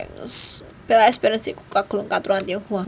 Bella Esperance iku kagolong katurunan Tionghoa